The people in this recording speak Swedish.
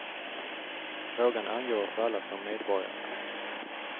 Frågan angår oss alla som medborgare.